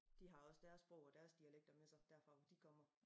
De har også deres sprog og deres dialekter med sig derfra hvor de kommer